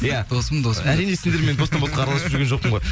иә досым досым әрине сендермен араласып жүрген жоқпын ғой